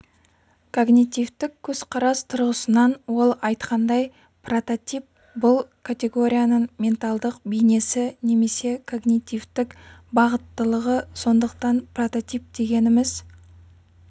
когнитивтік көзқарас тұрғысынан ол айтқандай прототип бұл категорияның менталдық бейнесі немесе когнитивтік бағыттылығы сондықтан прототип дегеніміз